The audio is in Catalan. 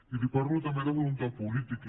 i li parlo també de voluntat política